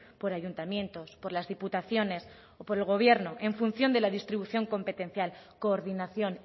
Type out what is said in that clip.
por ayuntamientos por las diputaciones por el gobierno en función de la distribución competencial coordinación